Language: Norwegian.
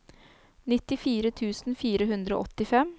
nittifire tusen fire hundre og åttifem